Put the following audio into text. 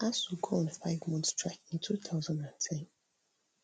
asuu go on five month strike in two thousand and ten